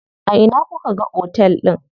A ina kuka ga otel din?